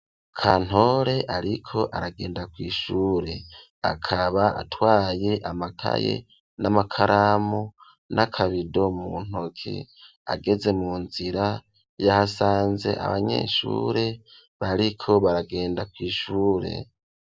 Kantore ariko aragenda kw'shure akaba atwaye amakaye n'amakaramu n'akabido mu ntoki ageze mu nzira yahasanze abanyeshure bariko baragenda kwi'shure.